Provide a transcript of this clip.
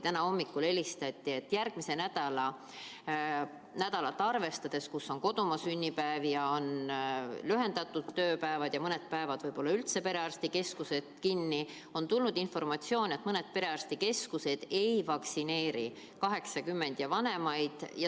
Täna hommikul helistati, et järgmisel nädalal, kui on kodumaa sünnipäev ja tööpäevad on lühendatud ja mõnel päeval võib-olla üldse perearstikeskused kinni, mõned perearstikeskused ei vaktsineeri 80-aastaseid ja vanemaid.